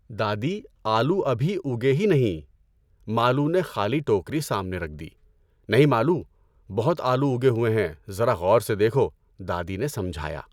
دادی، آلو ابھی اُگے ہی نہیں، مالو نے خالی ٹوکری سامنے رکھ دی۔ نہیں مالو، بہت آلو اُگے ہوئے ہیں ذرا غور سے دیکھو، دادی نے سمجھایا۔